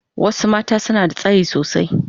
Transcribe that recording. Wasu mata suna da tsayi sosai.